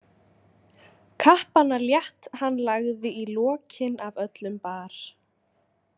Kappana létt hann lagði í lokin af öllum bar.